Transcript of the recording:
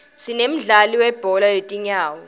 sinemdlalo welibhola letinyawo